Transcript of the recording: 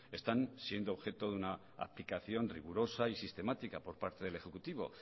están siendo objeto de una aplicación rigurosa y sistemática por parte del ejecutivo